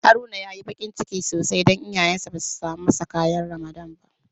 Haruna ya yi bakin ciki sosai don iyayensa ba su samo masa ƙayan Ramadan ba.